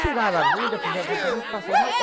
Tiraram a agulha, fizeram o tratamento, passou. Uma